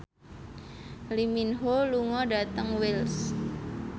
Lee Min Ho lunga dhateng Wells